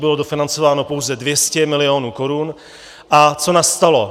Bylo dofinancováno pouze 200 milionů korun - a co nastalo?